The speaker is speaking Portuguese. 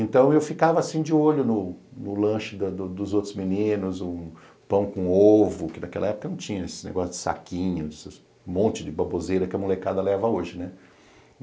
Então, eu ficava assim de olho no lanche dos outros meninos, o pão com ovo, que naquela época não tinha esse negócio de saquinho, esse monte de baboseira que a molecada leva hoje, né?